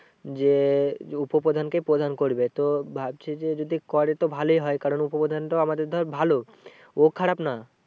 যে উপপ্রধানকেই প্রধান করবে তো ভাবছি যে যদি করে তো ভালোই হয় কারণ উপপ্রধানটাও আমাদের ধর ভালো। ও খারাপ না।